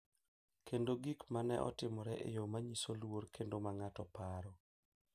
Kendo gik ma ne otimore e yo ma nyiso luor kendo ma ng’ato paro.